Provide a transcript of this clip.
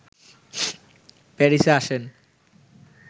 প্যারিসে আছেন